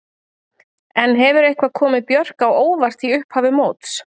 En hefur eitthvað komið Björk á óvart í upphafi móts?